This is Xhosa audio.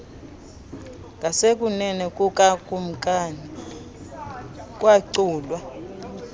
ngasekunene kukakumkani kwaculwa